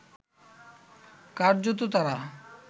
কার্যত তাঁরা